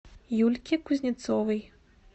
юльке кузнецовой